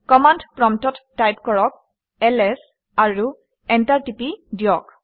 command প্ৰম্পটত type কৰক - ls আৰু এণ্টাৰ টিপি দিয়ক